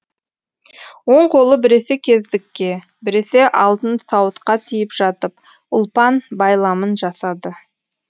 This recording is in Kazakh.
оң қолы біресе кездікке біресе алтын сауытқа тиіп жатып ұлпан байламын жасады